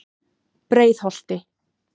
Breiðholti